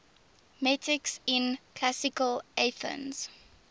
metics in classical athens